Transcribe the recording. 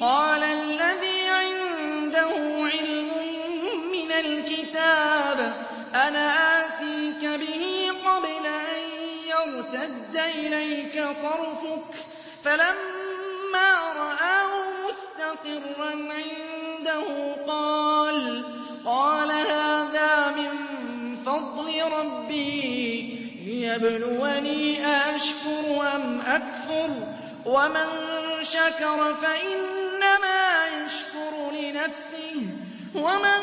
قَالَ الَّذِي عِندَهُ عِلْمٌ مِّنَ الْكِتَابِ أَنَا آتِيكَ بِهِ قَبْلَ أَن يَرْتَدَّ إِلَيْكَ طَرْفُكَ ۚ فَلَمَّا رَآهُ مُسْتَقِرًّا عِندَهُ قَالَ هَٰذَا مِن فَضْلِ رَبِّي لِيَبْلُوَنِي أَأَشْكُرُ أَمْ أَكْفُرُ ۖ وَمَن شَكَرَ فَإِنَّمَا يَشْكُرُ لِنَفْسِهِ ۖ وَمَن